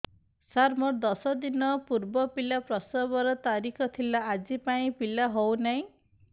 ସାର ମୋର ଦଶ ଦିନ ପୂର୍ବ ପିଲା ପ୍ରସଵ ର ତାରିଖ ଥିଲା ଆଜି ଯାଇଁ ପିଲା ହଉ ନାହିଁ